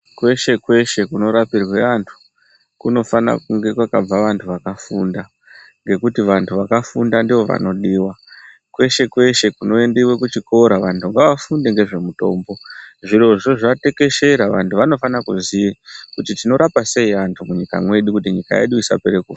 Kweshe kweshe kunorapirwa vanhu kunofana kunge kwakabva vantu vakafunda ngekuti vantu vakafunda ndivo vanodiwa. Kweshe kweshe kunoendiwa kuchikora vantu ngavafunde ngezvemutombo, zvirozvo zvatekeshera vantu vanofana kuziva kuti tinorapa sei antu munyika mwedu kuti antu isapera kufa.